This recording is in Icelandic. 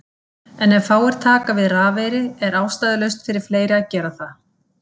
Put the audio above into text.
En ef fáir taka við rafeyri er ástæðulaust fyrir fleiri að gera það.